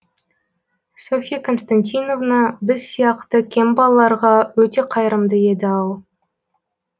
софья константиновна біз сияқты кем балаларға өте қайырымды еді ау